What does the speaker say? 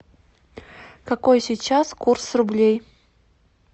какой сейчас курс рублей